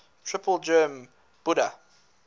triple gem buddha